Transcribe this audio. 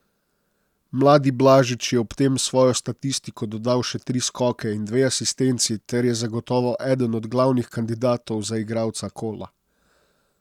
Mladi Blažič je ob tem v svojo statistiko dodal še tri skoke in dve asistenci ter je zagotovo eden od glavnih kandidatov za igralca kola.